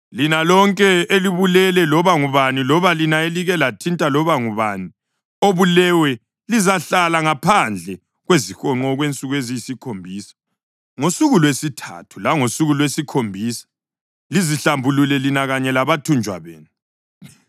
Lina lonke elibulele loba ngubani loba lina elike lathinta loba ngubani obuleweyo lizahlala ngaphandle kwezihonqo okwensuku eziyisikhombisa. Ngosuku lwesithathu langosuku lwesikhombisa lizihlambulule lina kanye labathunjwa benu.